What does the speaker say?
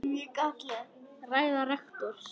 Ræða rektors